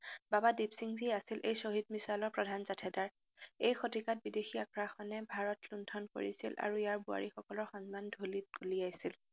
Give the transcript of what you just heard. বাবা দিপসিংজী আছিল এই শ্বহীদ মিছনৰ প্ৰধান জাথেদাৰ। এই শতিকাত বিদেশী আগ্ৰাসনে ভাৰত লুণ্ঠন কৰিছিল আৰু ইয়াৰ বোৱাৰীসকলৰ সন্মান ধুলিত ঘুলিয়াইছিল।